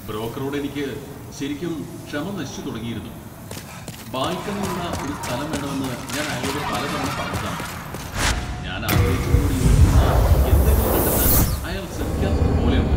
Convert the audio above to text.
ബ്രോക്കറോട് എനിക്ക് ശരിക്കും ക്ഷമ നശിച്ചു തുടങ്ങിയിരുന്നു. ബാൽക്കണിയുള്ള ഒരു സ്ഥലം വേണമെന്ന് ഞാൻ അയാളോട് പലതവണ പറഞ്ഞതാണ് . ഞാൻ ആഗ്രഹിച്ചതിനോട് യോജിക്കുന്ന എന്തെങ്കിലും കണ്ടെത്താൻ അയാൾ ശ്രമിക്കാത്തതുപോലെയുണ്ട് .